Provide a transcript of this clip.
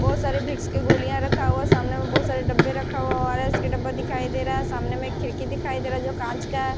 बहुत सारे विक्स की गोलियां रखा हुआ सामने में बहुत सारे डब्बे रखा हुआ है ओ_आर_एस के डब्बा दिखाई दे रहा है सामने में खिड़की दिखाई दे रहा है जो कांच का है।